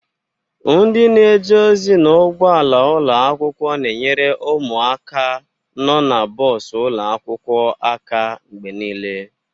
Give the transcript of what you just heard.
Ndị na-eje ozi n'ụgbọala ụlọ akwụkwọ na-enyere ụmụaka nọ na bọs ụlọ akwụkwọ aka mgbe niile.